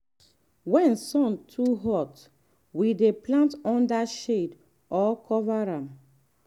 when sun too hot we dey plant under shade or cover am.